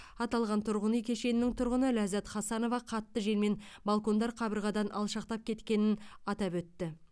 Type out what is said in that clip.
аталған тұрғын үй кешенінің тұрғыны ләззат хасанова қатты желмен балкондар қабырғадан алшақтап кеткенін атап өтті